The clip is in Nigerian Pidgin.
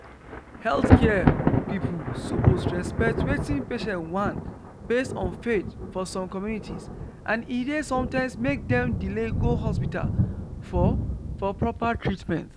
healthcare people suppose respect wetin patients want based on faith for some communities and e dey sometimes make dem delay go hospital for for proper treatment